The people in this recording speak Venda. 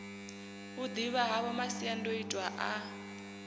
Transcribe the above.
u ḓivha havho masiandoitwa a